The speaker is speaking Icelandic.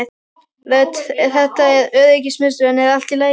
Rödd: Þetta er öryggismiðstöðin er allt í lagi hjá þér?